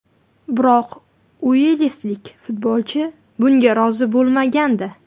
Biroq uelslik futbolchi bunga rozi bo‘lmagandi.